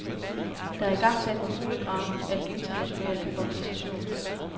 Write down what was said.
Der er igangsat en kulegravning af den internationale organisation.